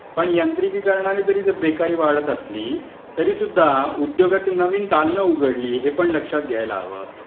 पण यांत्रिकीकरणामुळे जरी बेकारी वाढत असली, तरीसुद्धा उद्योगाची नवीन दालन उघडली हे पण लक्षात घ्यायला हवं.